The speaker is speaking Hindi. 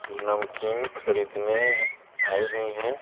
नमकीन खरीदनेआई हुई हैं।